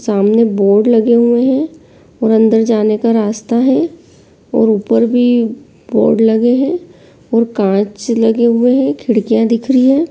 सामने बोर्ड लगे हुए हैं। मंदिर जाने का रास्ता है और ऊपर भी बोर्ड लगे हैं और कांच लगे हुए हैं खिड़किया दिख रही हैं।